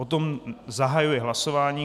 O tom zahajuji hlasování.